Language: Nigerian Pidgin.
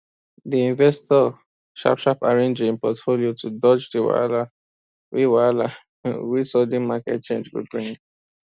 di investor sharpsharp arrange im portfolio to dodge di wahala wey wahala wey sudden market change go bring